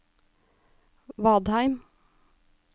Vadheim